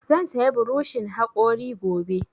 Zan saya burishin haƙori gobe